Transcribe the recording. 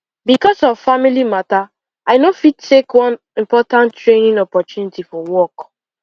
because of family matter i no fit take one important training opportunity for work